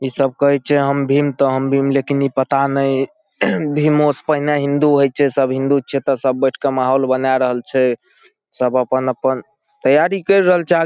ई सब कहे छै हम भीम त हम भीम लेकिन ई पता ने भीमो से पहले हिन्दू होय छै सब हिन्दू छिये त सब बैठ के माहौल बना रहल छै सब अपन-अपन तैयारी केर रहल छै ।